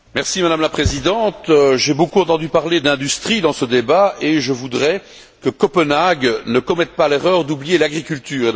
Madame la Présidente, j'ai beaucoup entendu parler d'industrie dans ce débat, et je voudrais que Copenhague ne commette pas l'erreur d'oublier l'agriculture.